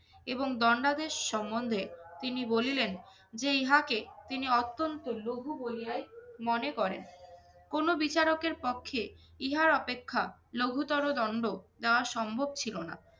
এবং দণ্ডাদেশ সম্বন্ধে তিনি বলিলেন যে ইহাকে তিনি অত্যন্ত লঘু বলিয়াই তিনি মনে করেন। কোনো বিচারকের পক্ষে ইহার অপেক্ষা লঘুতর দণ্ড দেওয়া সম্ভব ছিল না।